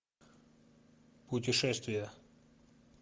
путешествие